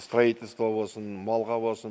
строительство болсын малға болсын